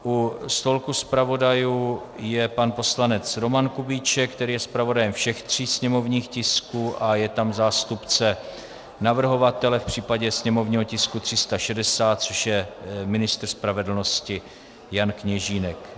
U stolku zpravodajů je pan poslanec Roman Kubíček, který je zpravodajem všech tří sněmovních tisků, a je tam zástupce navrhovatele v případě sněmovního tisku 360, což je ministr spravedlnosti Jan Kněžínek.